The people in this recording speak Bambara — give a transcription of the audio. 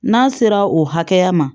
N'a sera o hakɛya ma